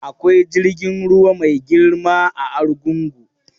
Akwai jirgin ruwa mai girma a Arugungun.